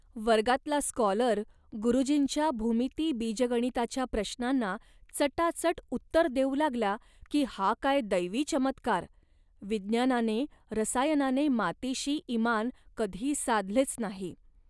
वर्गातला स्कॉलर गुरुजींच्या भूमिती बीजगणिताच्या प्रश्नांना चटाचट उत्तर देऊ लागला की 'हा काय दैवी चमत्कार. विज्ञानाने, रसायनाने मातीशी इमान कधी साधलेच नाही